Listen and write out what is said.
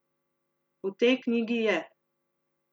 V tej knjigi je.